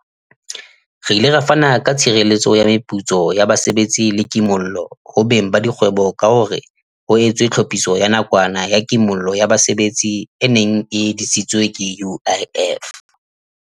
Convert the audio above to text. Re ile ra fana ka tshireletso ya meputso ya basebetsi le ki mollo ho beng ba dikgwebo ka hore ho etswe Tlhophiso ya Nakwana ya Kimollo ya Basebetsi e neng e disitswe ke UIF.